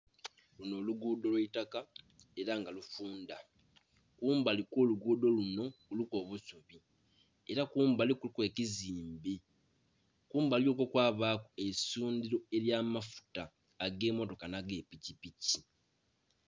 Lunho olugudho lwaitaka era nga lufundha, kumbali kwo lugudho lunho kuliku obusubi era kumbali kuliku ekizimbe, kumbali okwo kwabaku eisundhiro lya mafuta age motoka nha ge pikipiki.